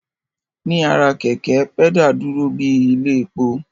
Ní ara kẹ̀kẹ́, pẹ́dà dúró bíi ilé epo